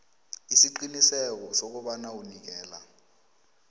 isiqiniseko sokobana unikela